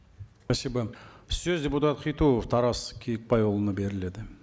спасибо сөз депутат хитуов тарас киікбайұлына беріледі